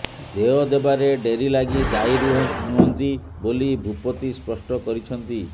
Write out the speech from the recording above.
ଦେୟ ଦେବାରେ ଡେରି ଲାଗି ଦାୟୀ ନୁହନ୍ତି ବୋଲି ଭୂପତି ସ୍ପଷ୍ଟ କରିଛନ୍ତି